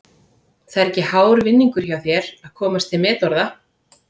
Það er ekki hár vinningur hjá þér að komast til metorða.